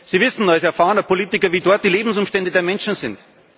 Sie wissen als erfahrener Politiker, wie dort die Lebensumstände der Menschen sind.